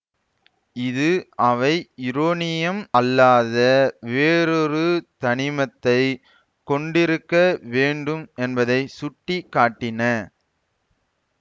இது அவை யுரோனியம் அல்லாத வேறொரு தனிமத்தை கொண்டிருக்க வேண்டும் என்பதை சுட்டிக்காட்டின